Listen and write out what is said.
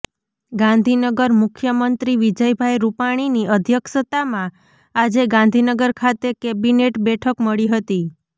ગાંધીનગરઃ મુખ્યમંત્રી વિજયભાઇ રૂપાણીની અધ્યક્ષતામાં આજે ગાંધીનગર ખાતે કેબિનેટ બેઠક મળી હતી